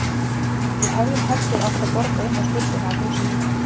Við hefðum heldur átt að borga inn á skuldina af húsinu.